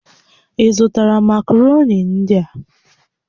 Ị zụtara makaroni ndị a?